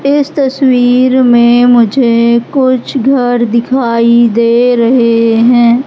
इस तस्वीर में मुझे कुछ घर दिखाई दे रहे हैं।